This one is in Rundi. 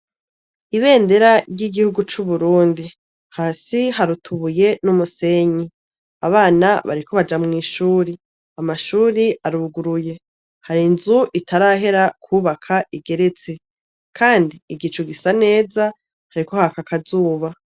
Ibendera ry'igihugu cu Burundi hasi hari utubuye n'umusenyi abana bariko baja mw'ishuri amashuri aruguruye hari inzu itarahera kubaka igeretse kandi igicu gisa neza hariko haka akazuba.